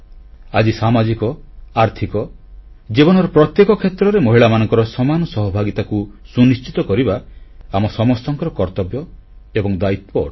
ଆଜି ସାମାଜିକ ଆର୍ଥିକ ଜୀବନର ପ୍ରତ୍ୟେକ କ୍ଷେତ୍ରରେ ମହିଳାମାନଙ୍କର ସମାନ ସହଭାଗିତାକୁ ସୁନିଶ୍ଚିତ କରିବା ଆମ ସମସ୍ତଙ୍କର କର୍ତ୍ତବ୍ୟ ଏବଂ ଦାୟିତ୍ୱ ଅଟେ